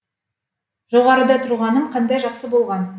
жоғарыда тұрғаным қандай жақсы болған